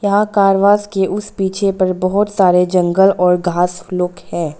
यहां car wash के उस पीछे पर बहुत सारे जंगल और घास लोग है।